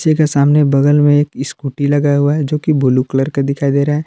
सामने बगल में एक स्कूटी लगा हुआ है जो कि ब्लू कलर का दिखाई दे रहा है।